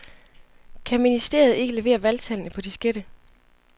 Kan ministeriet ikke levere valgtallene på diskette?